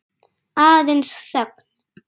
Aðeins þögn.